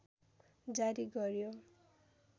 जारी गर्‍यो